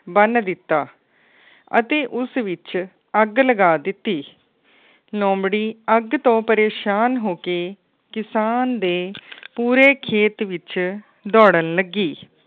ਬੰਨ ਦਿਤਾ ਅਤੇ ਉਸ ਵਿੱਚ ਅੱਗ ਲਗਾ ਦਿੱਤੀ। ਲੋਮੜ੍ਹੀ ਅੱਗ ਤੋਂ ਪਰੇਸ਼ਾਨ ਹੋ ਕੇ ਕਿਸਾਨ ਦੇ ਪੂਰੇ ਖੇਤ ਵਿੱਚ ਦੌੜਣ ਲੱਗੀ।